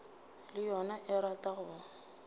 le yona e rata go